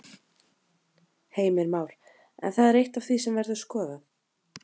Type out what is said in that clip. Heimir Már: En það er eitt af því sem verður skoðað?